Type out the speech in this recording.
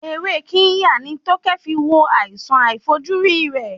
Ewé Kirya ni Tókẹ́ fi wo àrùn àìfojúrí rẹ̀.